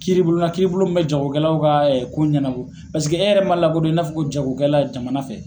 Kiiribulon na kiribulon min bɛ jagokɛlaw ka ko ɲɛnabɔ e yɛrɛ man lakodɔn i n'a fɔ jagokɛla jamana fɛ.